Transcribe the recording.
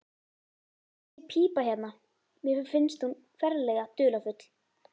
Þessi pípa hérna. mér finnst hún ferlega dularfull.